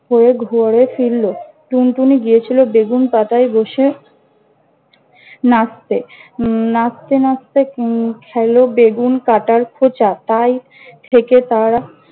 হয়ে ঘরে ফিরল। টুনটুনি গিয়েছিল বেগুন পাতায় বসে নাচতে। নাচতে নাচতে উম খেল বেগুন কাটার খোঁচা। তাই, থেকে তারা